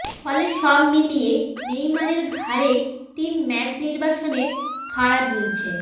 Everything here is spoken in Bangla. ফলে সব মিলিয়ে নেইমারের ঘাড়ে তিন ম্যাচ নির্বাসনের খাড়া ঝুলছে